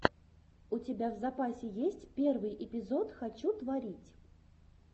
у тебя в запасе есть первый эпизод хочу творить